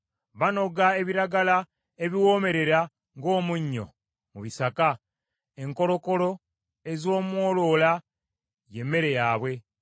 Banoga ebiragala ebiwoomerera ng’omunnyo mu bisaka, enkolokolo ez’omwoloola y’emmere yaabwe.